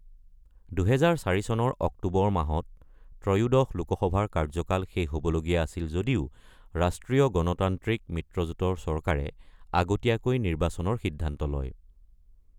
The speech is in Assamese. ২০০৪ চনৰ অক্টোবৰ মাহত ত্ৰয়োদশ লোকসভাৰ কাৰ্যকাল শেষ হ’বলগীয়া আছিল যদিও ৰাষ্ট্ৰীয় গণতান্ত্ৰিক মিত্ৰজোঁটৰ চৰকাৰে আগতীয়াকৈ নিৰ্বাচনৰ সিদ্ধান্ত লয়।